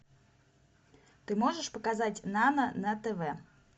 ты можешь показать нано на тв